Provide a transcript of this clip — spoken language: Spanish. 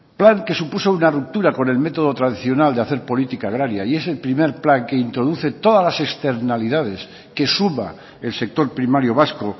plan que supuso una ruptura con el método tradicional de hacer política agraria y es el primer plan que introduce todas las externalidades que suma el sector primario vasco